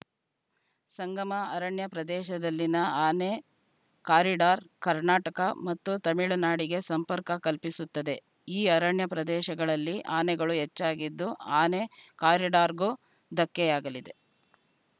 ಸಂಗಮ ಅರಣ್ಯ ಪ್ರದೇಶದಲ್ಲಿನ ಆನೆ ಕಾರಿಡಾರ್‌ ಕರ್ನಾಟಕ ಮತ್ತು ತಮಿಳುನಾಡಿಗೆ ಸಂಪರ್ಕ ಕಲ್ಪಿಸುತ್ತದೆ ಈ ಅರಣ್ಯ ಪ್ರದೇಶದಳಲ್ಲಿ ಆನೆಗಳು ಹೆಚ್ಚಾಗಿದ್ದು ಆನೆ ಕಾರಿಡಾರ್‌ಗೂ ಧಕ್ಕೆಯಾಗಲಿದೆ